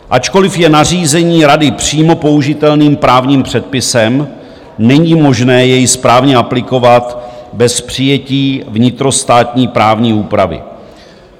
Ačkoliv je nařízení Rady přímo použitelným právním předpisem, není možné jej správně aplikovat bez přijetí vnitrostátní právní úpravy.